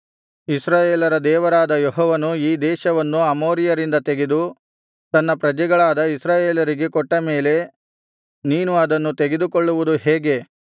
ಇಸ್ರಾಯೇಲರ ದೇವರಾದ ಯೆಹೋವನು ಈ ದೇಶವನ್ನು ಅಮೋರಿಯರಿಂದ ತೆಗೆದು ತನ್ನ ಪ್ರಜೆಗಳಾದ ಇಸ್ರಾಯೇಲರಿಗೆ ಕೊಟ್ಟ ಮೇಲೆ ನೀನು ಅದನ್ನು ತೆಗೆದುಕೊಳ್ಳುವುದು ಹೇಗೆ